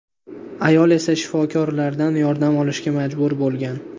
Ayol esa shifokorlardan yordam olishga majbur bo‘lgan.